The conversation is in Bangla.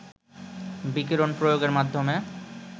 বিকিরণ প্রয়োগের মাধ্যমে